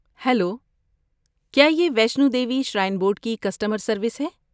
Hello! کیا یہ Vaishno Devi shrine board کی کسٹمر سروس ہے؟